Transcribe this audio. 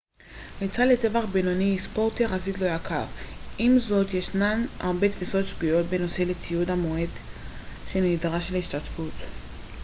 ריצה לטווח בינוני היא ספורט יחסית לא יקר עם זאת ישנן הרבה תפיסות שגויות בנוגע לציוד המועט שנדרש להשתתפות